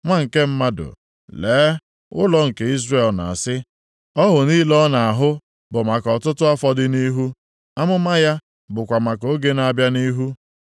“Nwa nke mmadụ, lee, ụlọ nke Izrel na-asị, ‘Ọhụ niile ọ na-ahụ bụ maka ọtụtụ afọ dị nʼihu, amụma ya bụkwa maka oge na-abịa nʼihu.’